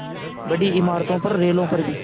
बड़ी इमारतों पर रेलों पर भी